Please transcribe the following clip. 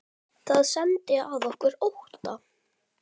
Það setti að okkur ótta.